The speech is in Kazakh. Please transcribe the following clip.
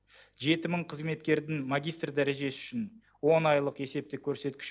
жеті мың қызметкердің магистр дәрежесі үшін он айлық есептік көрсеткіш